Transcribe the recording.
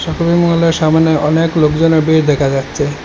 শপিংমহলের সামনে অনেক লোকজনের ভিড় দেখা যাচ্ছে।